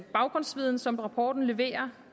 baggrundsviden som rapporten leverer